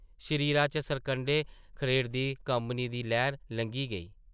शरीरा च सरकंढे खड़ेरदी कम्मनी दी लैह्र लंघी गेई ।